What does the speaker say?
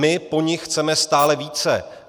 My po nich chceme stále více.